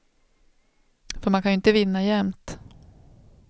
För man kan ju inte vinna jämt.